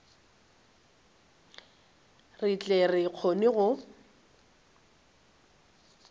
re tle re kgone go